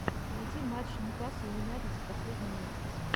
найти матча ньюкасл юнайтед за последний месяц